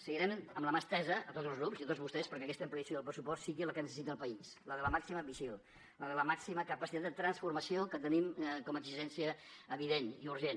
seguirem amb la mà estesa a tots els grups i a tots vostès perquè aquesta ampliació del pressupost sigui la que necessita el país la de la màxima ambició la de la màxima capacitat de transformació que tenim com a exigència evident i urgent